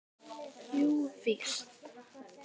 Jú víst.